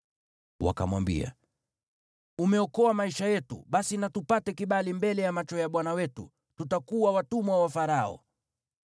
Wakamwambia, “Umeokoa maisha yetu. Basi na tupate kibali mbele ya macho ya bwana wetu; tutakuwa watumwa wa Farao.”